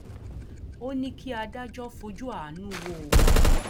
ó ní kí adájọ fojú àánú wo òun